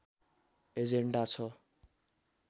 agenda छ